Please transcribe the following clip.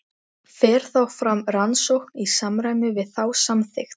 Þetta er aðallega glerbrot og blettir.